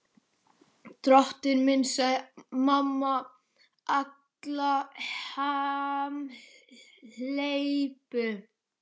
Drottinn minn, sagði mamma Alla hamhleypu.